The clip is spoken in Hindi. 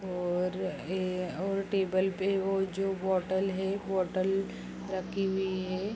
और ये और टेबल पे वो जो बोटल है बोटल रखी हुई है।